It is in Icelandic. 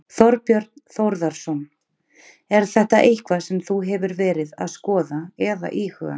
Þorbjörn Þórðarson: Er þetta eitthvað sem þú hefur verið að skoða eða íhuga?